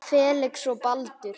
Felix og Baldur.